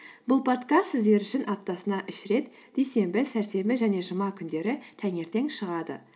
бұл подкаст сіздер үшін аптасына үш рет дүйсенбі сәрсенбі және жұма күндері таңертең шығады